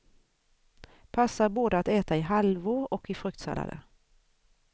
Passar både att äta i halvor och i fruktsallader.